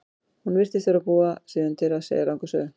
Hún virtist vera að búa sig undir að segja langa sögu.